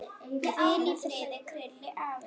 Hvíl í friði, Krilli afi.